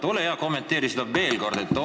Ole hea ja kommenteeri seda veel kord!